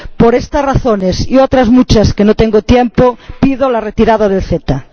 Por estas razones y otras muchas que no tengo tiempo de exponer, pido la retirada del CETA.